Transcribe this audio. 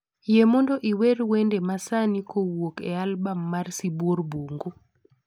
Yie mondo iwer wende masani kowuok e albam mar sibuor bungu